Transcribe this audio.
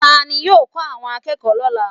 Ta ni yóò kọ́ àwọn akẹ́kọ̀ọ́ lọ́la?